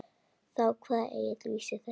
Þá kvað Egill vísu þessa: